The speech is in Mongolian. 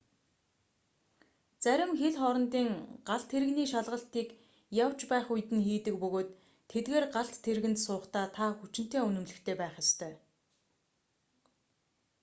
зарим хил хоорондын галт тэрэгний шалгалтыг явж байх үед нь хийдэг бөгөөд тэдгээр галт тэргэнд суухдаа та хүчинтэй үнэмлэхтэй байх ёстой